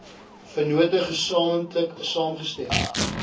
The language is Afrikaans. vennote gesamentlik saamgestem